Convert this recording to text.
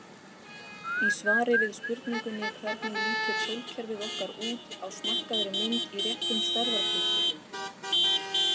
Í svari við spurningunni Hvernig lítur sólkerfið okkar út á smækkaðri mynd í réttum stærðarhlutföllum?